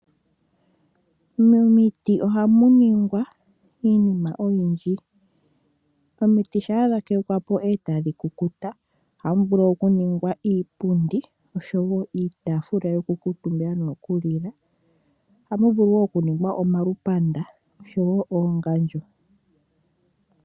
Momiti ohamuningwa iinima oyindji. Omiti shampa dhakekwa po etadhi kukuta ohamu vulu okuningwa iipundi osho wo iitaafula yoku kuutumbila noyo kulila, ohamu vulu woo okuningwa omalupanda osho woo oongandjo.